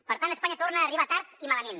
per tant espanya torna a arribar tard i malament